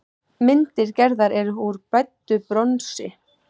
Myndir Gerðar eru úr bræddu bronsi.